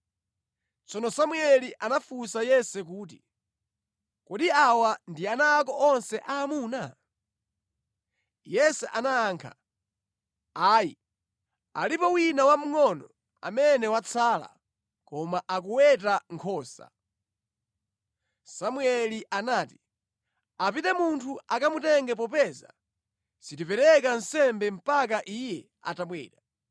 Tsono Samueli anafunsa Yese kuti, “Kodi awa ndi ana ako onse aamuna?” Yese anayankha kuti, “Ayi, alipo wina wamngʼono amene watsala, koma akuweta nkhosa.” Samueli anati, “Apite munthu akamutenge popeza sitipereka nsembe mpaka iye atabwera.”